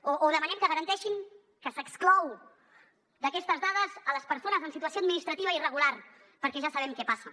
o demanem que garanteixin que s’exclou d’aquestes dades les persones en situació administrativa irregular perquè ja sabem què passa